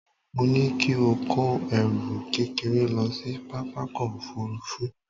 Mo ní kí ó kó ẹrù kékeré lọ sí pápákọ̀ òfuurufú